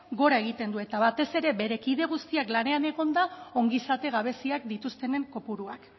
gora egiten du eta batez ere bere kide guztiak lanean egonda ongizate gabeziak dituztenen kopuruak